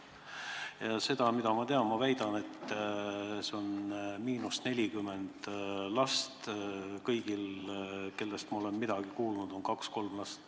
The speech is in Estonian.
Ja ma väidan, et see tähendab Eestile miinus 40 last, sest kõigil, kellest ma olen midagi kuulnud, on 2–3 last.